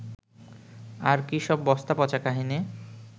আর কী সব বস্তাপচা কাহিনি